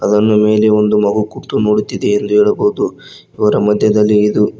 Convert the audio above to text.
ಅದನ್ನು ಮೇಲೆ ಒಂದು ಮಗು ಕೂತು ನೋಡುತ್ತಿದೆ ಎಂದು ಹೇಳಬಹುದು ಇವರ ಮಧ್ಯದಲ್ಲಿ ಇದು--